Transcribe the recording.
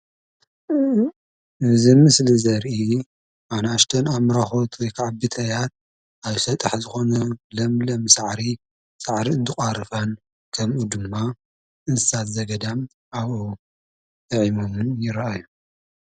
እዚ ምስሊ ዘርኢ ኣንኣሽተይ አሙራክት ወይ ብተያት ኣብ ሰጣሕ ዝኾነ ለምለም ሳዕሪ ሳዕሪ እንትቆርፋን ከምኡ'ድማ እንስሳ ዘገዳም ኣብኡ የዒሞም ይርኣዩ።